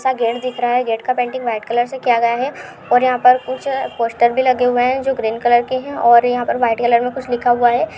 gate दिख रहा है | गेट का पेंटिंग वाइट कलर से किया गया है और यहाँ पर कुछ पोस्टर भी लगे हुए हैं जो ग्रीन कलर के हैं और यहाँ पर वाइट कलर में कुछ लिखा हुआ है --